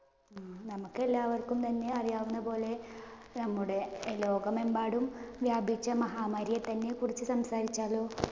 നമുക്ക് എല്ലാവര്‍ക്കും തന്നെ അറിയാവുന്ന പോലെ നമ്മുടെ ലോകമെമ്പാടും വ്യാപിച്ച മഹാമാരിയെ തന്നെ കുറിച്ച് സംസാരിച്ചാലോ?